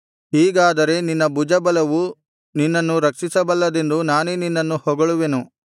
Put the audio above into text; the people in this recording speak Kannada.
ಹೀಗಾದರೆ ನಿನ್ನ ಬಲಭುಜವು ನಿನ್ನನ್ನು ರಕ್ಷಿಸಬಲ್ಲದೆಂದು ನಾನೇ ನಿನ್ನನ್ನು ಹೊಗಳುವೆನು